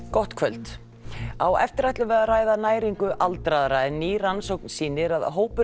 gott kvöld á eftir ætlum við að ræða næringu aldraðra en ný rannsókn sýnir að hópur